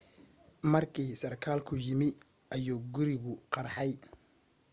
markii sarkaalku yimi ayuu gurigu qarxay